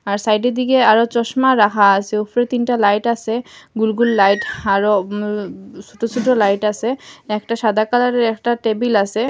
আর সাইটের দিকে আরো চশমা রাখা আসে উফরে তিনটা লাইট আসে গুল গুল লাইট আরো উম ছুটো ছুটো লাইট আসে একটা সাদা কালারের একটা টেবিল আসে।